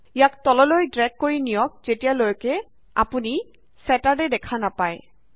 ইয়াক তললৈ ড্ৰেগ কৰি নিয়ক যেতিয়ালৈকে আপুনি ছেটাৰ ড দেখা নাপায়